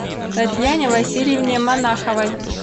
татьяне васильевне монаховой